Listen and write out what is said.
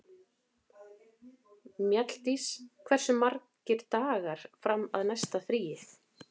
Mjalldís, hversu margir dagar fram að næsta fríi?